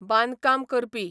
बांदकाम करपी